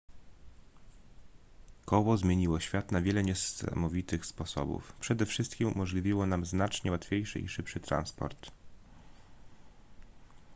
koło zmieniło świat na wiele niesamowitych sposobów przede wszystkim umożliwiło nam znacznie łatwiejszy i szybszy transport